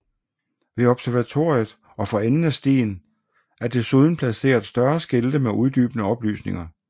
Ved observatoriet og for enden af stien er desuden placeret større skilte med uddybende oplysninger